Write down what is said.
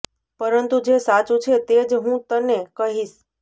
પરંતુ જે સાચું છે તે જ હું તને કહીશ